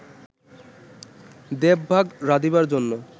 দেবভাগ রাধিবার জন্য